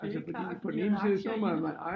Det er klart de havde aktier i det